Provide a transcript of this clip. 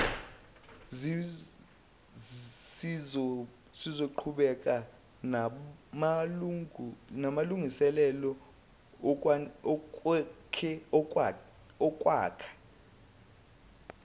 sizoqhubeka namalungiselelo okwakha